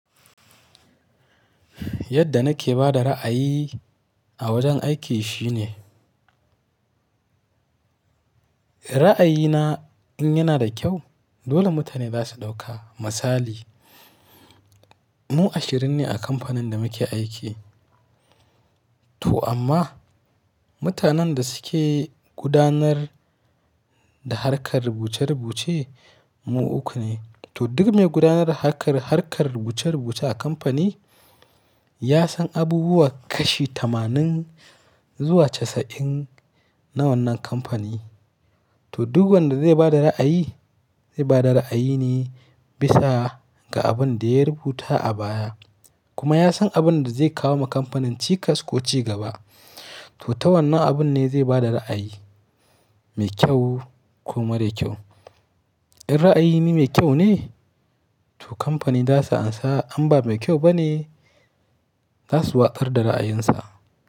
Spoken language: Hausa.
Yadda nake ba da ra'ayi a wajen aiki shine, ra'ayina in yana da kyau, dole mutane za su ɗauka misali. Mu ashirin ne a kamfanin da muke aiki, to amma mutanen da suke gudanar da harkar rubuce-rubuce mu uku ne. To duk mai gudanar da harkar, harkar rubuce-rubuce a kamfani ya san abubuwa kashi tamanin zuwa casa'in na wannan kamfani. To duk wanda zai ba da ra'ayi, zai ba da ra'ayi ne bisa ga abin da ya rubuta a baya. Kuma ya san abin da zai kawo wa kamfanin cikas ko cigaba. To ta wannan abun ne zai ba da ra'ayi, mai kyau ko mara kyau. In ra'ayina mai kyau ne, to kamfani za su amsa, "amma ba mai kyau ba ne," za su waƙar da ra'ayinsa.